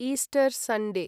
Easter Sunday